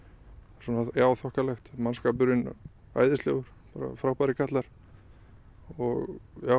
svona þokkalegt mannskapurinn æðislegur frábærir kallar og